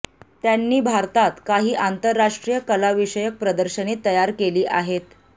त्यांनी भारतात काही आंतरराष्ट्रीय कलाविषयक प्रदर्शने तयार केली आहेत